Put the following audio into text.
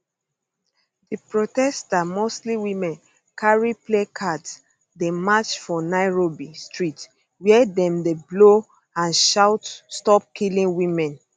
di protesters mostly women carry placards dey march for nairobi street wia dem dey blow and shout stop killing women